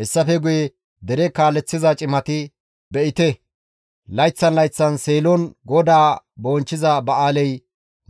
Hessafe guye dere kaaleththiza cimati, «Be7ite, layththan layththan Seelon GODAA bonchchiza ba7aaley